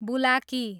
बुलाकी